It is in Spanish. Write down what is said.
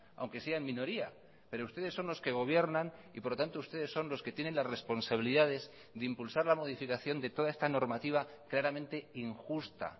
aunque sea en minoría pero ustedes son los que gobiernan y por lo tanto ustedes son los que tienen las responsabilidades de impulsar la modificación de toda esta normativa claramente injusta